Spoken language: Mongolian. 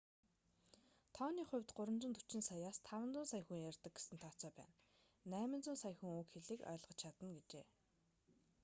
тооны хувьд 340 саяас 500 сая хүн ярьдаг гэсэн тооцоо байна 800 сая хүн уг хэлийг ойлгож чадна гэжээ